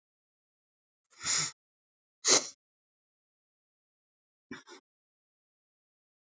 Ekkert einfalt svar er til við því hvers vegna fyrirkomulagið er eins og það er.